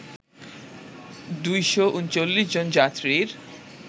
২৩৯ জন যাত্রীর